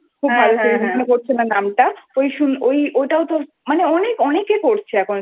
খুব ভালো Seriesমনে পড়ছে না নামটা ওটাওতো মানে অনেকে করছে এখন